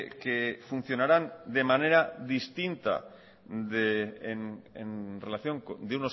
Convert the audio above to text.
que funcionarán de manera distinta en relación de